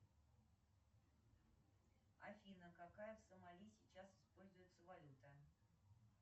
афина какая в сомали сейчас используется валюта